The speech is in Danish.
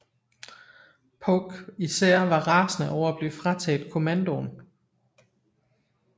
Polk især var rasende over at blive frataget kommandoen